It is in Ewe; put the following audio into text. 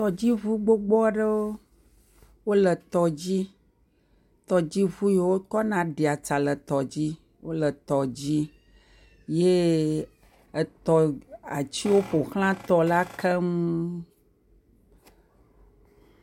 Tɔdziŋu gbogbo aɖewo, wole tɔ dzi, tɔdziwo yiwo wokɔna ɖia tsa le tɔ dzi wole tɔ dzi, yee etɔ atiwo ƒo xla tɔ la keŋ.